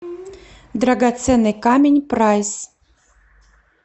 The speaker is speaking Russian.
драгоценный камень прайс